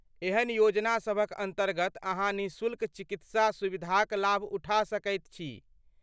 एहन योजना सभक अन्तर्गत अहाँ निःशुल्क चिकित्सा सुविधाक लाभ उठा सकैत छी।